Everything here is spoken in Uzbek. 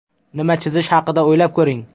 Nima chizish haqida o‘ylab ko‘ring.